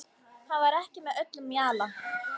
Hann var ekki með öllum mjalla.